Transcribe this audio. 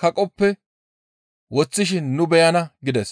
kaqoppe woththishin nu beyana» gides.